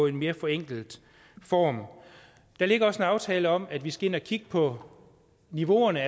en mere forenklet form der ligger også en aftale om at vi skal kigge på niveauerne